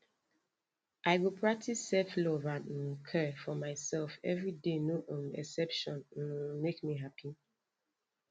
i go practice selflove and um care for myself every day no um exception um make me happy